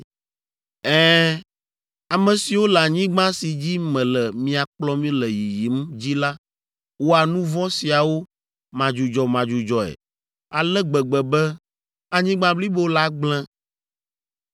Ɛ̃, ame siwo le anyigba si dzi mele mia kplɔm le yiyim dzi la wɔa nu vɔ̃ siawo madzudzɔmadzudzɔe ale gbegbe be anyigba blibo la gblẽ.